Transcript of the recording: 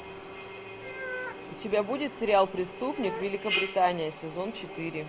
у тебя будет сериал преступник великобритания сезон четыре